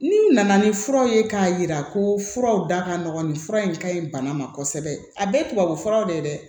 N'u nana ni fura ye k'a yira ko furaw da ka nɔgɔn ni fura in ka ɲi bana ma kosɛbɛ a bɛɛ ye tubabu furaw de ye dɛ